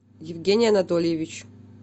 евгений анатольевич